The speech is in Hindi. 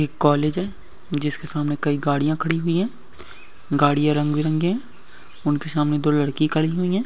एक कॉलेज है जिसके सामने कइ गाड़ियाँ खड़ी हुई है गाड़ियाँ रंग बिरंगी है उनके सामने दो लडकी खड़ी हुई है।